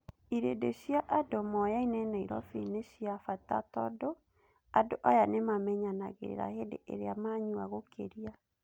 Irĩndi cia andũ moyaine Nairobi nĩ cia bata tondũ andũ aya nĩmamenyanagĩrĩra hĩndĩ ĩrĩa manyua gukĩria.